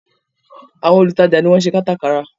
Àwọn olùtajà ni wọ́n ṣe kátà kárà